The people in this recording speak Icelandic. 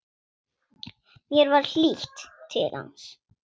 Mér var hlýtt til hans.